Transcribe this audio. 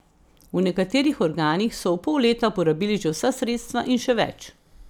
V nekaterih organih so v pol leta porabili že vsa sredstva in še več.